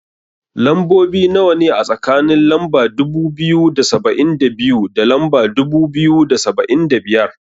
Lambobi nawa ne, a tsakanin lamba dubu biyu da saba'in da biyu, da lamba dubu biyu da saba'in da biyar.